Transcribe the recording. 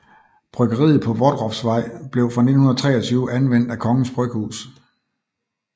Bryggeriet på Vodroffsvej blev fra 1923 anvendt af Kongens Bryghus